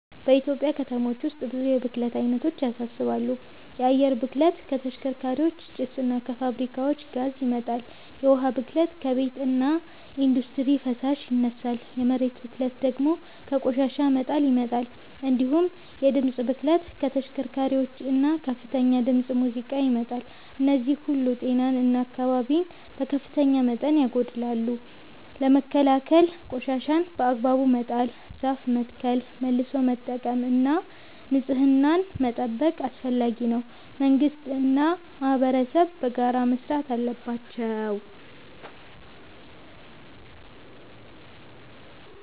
በኢትዮጵያ ከተሞች ውስጥ ብዙ የብክለት አይነቶች ያሳስባሉ። የአየር ብክለት ከተሽከርካሪዎች ጭስ እና ከፋብሪካዎች ጋዝ ይመጣል፤ የውሃ ብክለት ከቤትና ኢንዱስትሪ ፍሳሽ ይነሳል፤ የመሬት ብክለት ደግሞ ከቆሻሻ መጣል ይመጣል። እንዲሁም የድምፅ ብክለት ከተሽከርካሪዎችና ከከፍተኛ ድምፅ ሙዚቃ ይመጣል። እነዚህ ሁሉ ጤናን እና አካባቢን በከፍተኛ መጠን ያጎድላሉ። ለመከላከል ቆሻሻን በአግባቡ መጣል፣ ዛፍ መትከል፣ መልሶ መጠቀም እና ንጽህናን መጠበቅ አስፈላጊ ነው፤ መንግስትና ማህበረሰብም በጋራ መስራት አለባቸው።